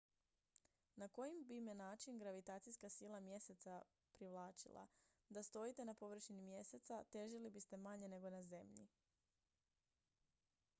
na koji bi me način gravitacijska sila mjeseca io privlačila da stojite na površini mjeseca io težili biste manje nego na zemlji